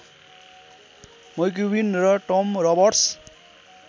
McCubbin र Tom रबर्ट्स